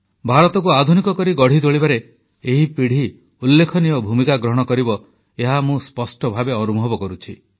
ଭାରତକୁ ଆଧୁନିକ କରି ଗଢ଼ି ତୋଳିବାରେ ଏହି ପିଢ଼ି ଉଲ୍ଲେଖନୀୟ ଭୂମିକା ଗ୍ରହଣ କରିବ ଏହା ମୁଁ ସ୍ପଷ୍ଟ ଭାବେ ଅନୁଭବ କରୁଛି